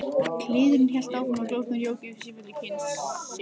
Kliðurinn hélt áfram og glósurnar jóku í sífellu kyn sitt.